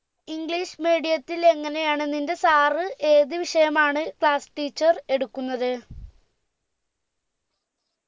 english medium ത്തിൽ എങ്ങനെയാണ് നിന്റെ sir ഏത് വിഷയമാണ് class teacher എടുക്കുന്നത്